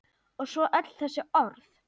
Og svo öll þessi orð.